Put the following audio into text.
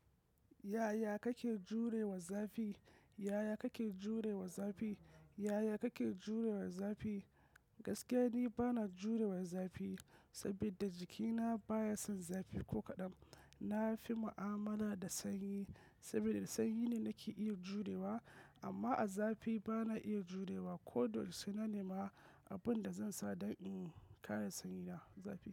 Yaya kake jurewa zafi? Yaya kake jurewa zafi? Yaya kake jurewa zafi? Gaskiya ni bana jurewa zafi, saboda jikina baya son zafi ko kaɗan. Na fi mu'amala da sanyi, saboda sanyi ne nake iya jurewa amma a zafi bana iya jurewa. Ko da yaushe sai na nema abin da zan sa don in kare saniyina zafi.